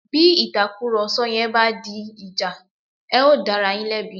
Bí ìtàkùrọ̀sọ yẹn bá di ìjà, ẹ̀ ó dá ara yín lẹ́bi